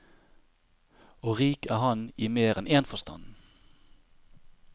Og rik er han i mer enn en forstand.